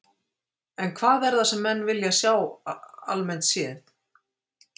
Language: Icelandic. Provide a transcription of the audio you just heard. En hvað er það sem að menn vilja sjá almennt séð?